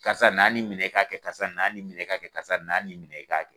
Karisa na nin minɛ i k'a kɛ karisa na nin minɛ i k'a kɛ karisa na nin minɛ i k'a kɛ